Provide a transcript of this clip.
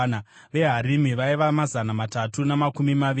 veHarimi vaiva mazana matatu namakumi maviri;